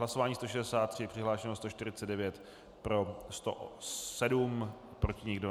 Hlasování 163, přihlášeno 149, pro 107, proti nikdo.